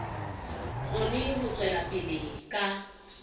kgone ho tswela pele ka